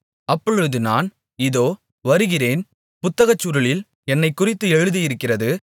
அப்பொழுது நான் இதோ வருகிறேன் புத்தகச்சுருளில் என்னைக் குறித்து எழுதியிருக்கிறது